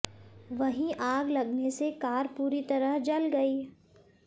वहीं आग लगने से कार पूरी तरह जल गई